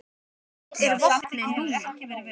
Hvert er vopnið núna?